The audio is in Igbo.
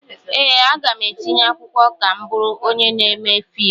Ee, aga m etinye akwụkwọ ka m bụrụ onye na-eme fiimu.